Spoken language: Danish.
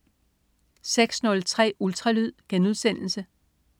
06.03 Ultralyd*